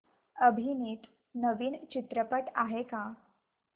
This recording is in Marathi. अभिनीत नवीन चित्रपट आहे का